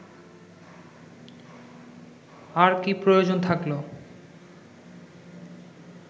আর কী প্রয়োজন থাকলো